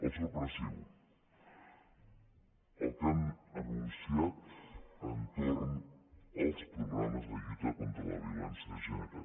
el sorprenent el que han anunciat entorn dels programes de lluita contra la violència de gènere